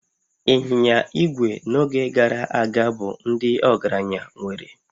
Ịnyịnya igwe n'oge gara aga bụ ndị ọgaranya nwere